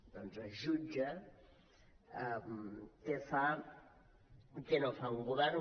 doncs es jutja què fa què no fa un govern